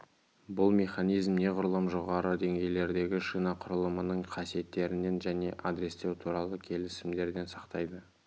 бұл механизм неғұрлым жоғары деңгейлерді шина құрылымының қасиеттерінен және адрестеу туралы келісімдерден сақтайды